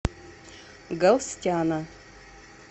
галстяна